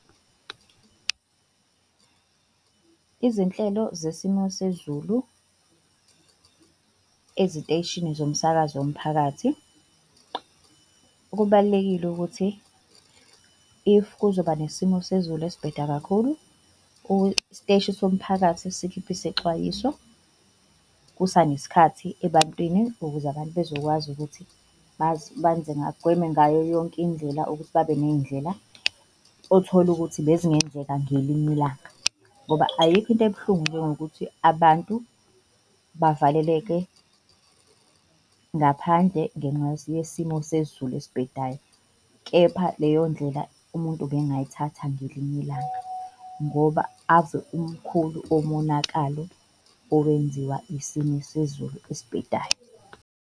Izinhlelo zesimo sezulu eziteshini zomsakazo womphakathi kubalulekile ukuthi, if kuzoba nesimo sezulu esibheda kakhulu, isiteshi somphakathi sikhiphe isexwayiso kusanesikhathi ebantwini ukuze abantu bezokwazi ukuthi bagweme ngayo yonke indlela ukuthi babe ney'ndlela othola ukuthi bezingenzeka ngelinye ilanga. Ngoba ayikho into ebuhlungu njengokuthi abantu bavaleleke ngaphandle ngenxa yesimo sezulu esibhedayo. Kepha leyo ndlela umuntu ubengayithatha ngelinye ilanga ngoba ave umkhulu umonakalo owenziwa isimo sezulu esibhedayo.